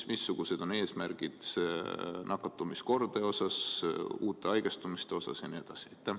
Ja missugused on eesmärgid nakatumiskordaja osas, uute haigestumiste osas ja nii edasi?